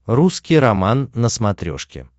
русский роман на смотрешке